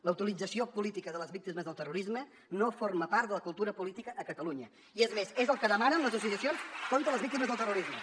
la utilització política de les víctimes del terrorisme no forma part de la cultura política a catalunya i és més és el que demanen les associacions contra les víctimes del terrorisme